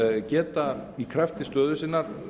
geta í krafti stöðu sinnar